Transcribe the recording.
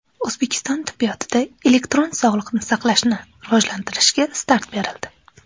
O‘zbekiston tibbiyotida elektron sog‘liqni saqlashni rivojlantirishga start berildi.